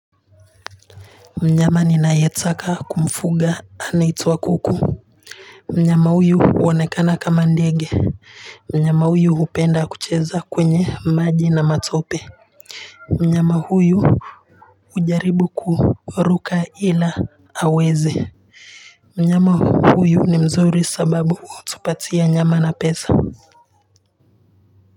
Mnyama ninayetaka kumfuga anaituwa kuku mnyama huyu huonekana kama ndege mnyama huyu hupenda kucheza kwenye maji na matope mnyama huyu hujaribu kuruka ila hawezi mnyama huyu ni mzuri sababu hutupatia nyama na pesa.